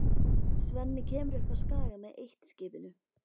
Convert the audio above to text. Svenni kemur upp á Skaga með eitt-skipinu.